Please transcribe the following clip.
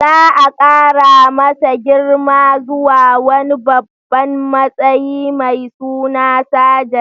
Za a kara masa girma zuwa wani babban matsayi mai suna Sajan.